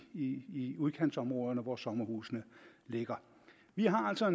i i udkantsområderne hvor sommerhusene ligger vi har altså